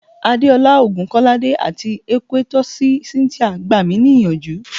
Adeola Ogunkolade ati Ekwytosi Cynthia gba mi ni iyanju